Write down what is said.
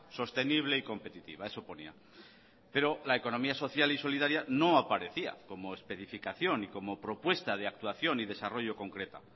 sostenible y competitiva eso ponía pero la economía social y solidaria no aparecía como especificación y como propuesta de actuación y desarrollo concreta